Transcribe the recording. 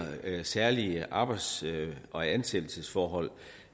særlige arbejds og ansættelsesforhold